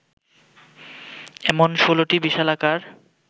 এমন ১৬টি বিশালাকার